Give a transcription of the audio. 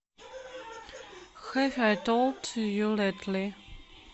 хэв ай толд ю лэйтли